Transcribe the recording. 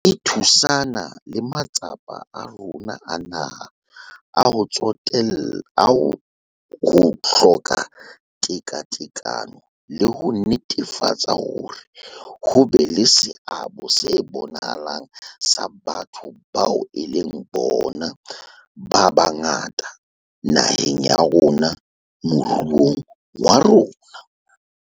E thusana le matsapa a rona a naha a ho etsolla ho hloka tekatekano le ho netefatsa hore ho be le seabo se bonahalang sa batho bao e leng bona ba bangata naheng ya rona moruong wa rona.